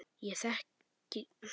Ég þekki vanmátt þinn.